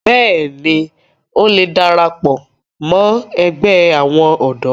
bẹ́ẹ̀ni, ó le darapọ̀ ẹgbẹ́ àwọn ọ̀dọ́